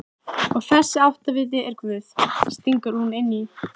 Og þessi áttaviti er Guð, stingur hún inn í.